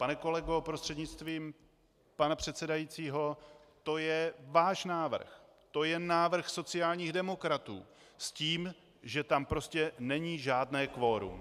Pane kolego prostřednictvím pana předsedajícího, to je váš návrh, to je návrh sociálních demokratů s tím, že tam prostě není žádné kvorum.